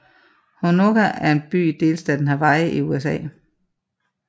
Honokaa er en by i delstaten Hawaii i USA